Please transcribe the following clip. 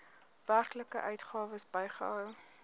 werklike uitgawes bygehou